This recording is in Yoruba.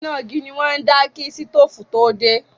Iná igi ni wọ́n ń dá kí sítóòfù tó dé.